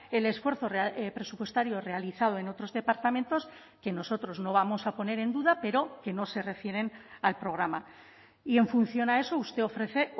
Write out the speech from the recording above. el esfuerzo presupuestario realizado en otros departamentos que nosotros no vamos a poner en duda pero que no se refieren al programa y en función a eso usted ofrece